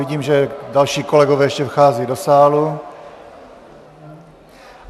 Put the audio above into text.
Vidím, že další kolegové ještě vcházejí do sálu...